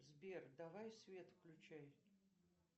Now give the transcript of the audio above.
сбер давай свет включай